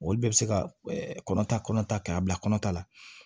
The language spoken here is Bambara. Olu bɛɛ bɛ se ka kɔnɔ ta kɔnɔ ta k'a bila kɔnɔ ta la